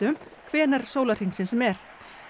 hvenær sólarhringsins sem er